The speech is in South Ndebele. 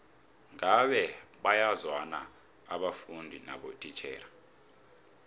ngabe bayazwana abafundi nabotitjhere